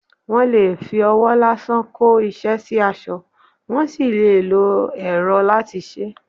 Wọ́n lè fi ọwọ́ lásán kó iṣẹ́ sí aṣọ, wọ́n sì lè lo ẹrọ láti ṣe é.